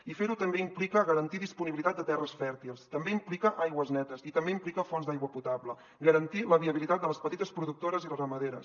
i ferho també implica garantir disponibilitat de terres fèrtils també implica aigües netes i també implica fonts d’aigua potable garantir la viabilitat de les petites productores i ramaderes